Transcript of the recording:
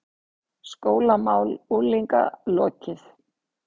SKÓLAMÁL UNGLINGA LOKIÐ